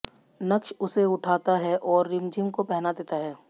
नक़्श उसे उठता है और रिमझिम को पहना देता है